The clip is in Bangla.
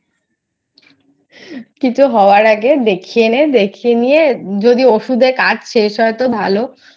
কিছু হওয়ার আগে দেখিয়ে নে দেখিয়ে নিয়ে যদি ঔষুধে কাজ শেষ হয় তো ভালো